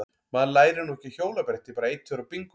Maður lærir nú ekki á hjólabretti bara einn tveir og bingó!